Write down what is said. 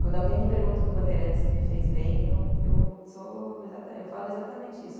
Quando alguém me pergunta do Bandeirantes se me fez bem, eu sou, eu falo exatamente isso.